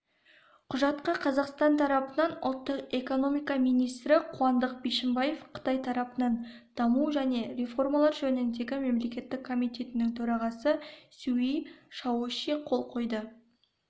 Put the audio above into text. құжатқа қазақстан тарапынан ұлттық экономика министрі қуандық бишімбаев қытай тарапынан даму және реформалар жөніндегі мемлекеттік комитетінің төрағасы сюй шаоши қол қойды